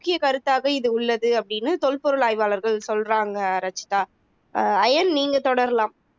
முக்கியக் கருத்தாக இது உள்ளது அப்படின்னு தொல்பொருள் ஆய்வாளர்கள் சொல்றாங்க ரச்சிதா ஆஹ் ஐயன் நீங்க தொடரலாம்